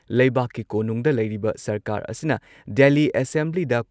ꯂꯩꯕꯥꯛꯀꯤ ꯀꯣꯅꯨꯡꯗ ꯂꯩꯔꯤꯕ ꯁꯔꯀꯥꯔ ꯑꯁꯤꯅ ꯗꯦꯜꯂꯤ ꯑꯦꯁꯦꯝꯕ꯭ꯂꯤꯗ